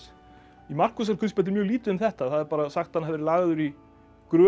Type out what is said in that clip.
í Markúsarguðspjalli er mjög lítið um þetta það er bara sagt að hann verið lagður í gröf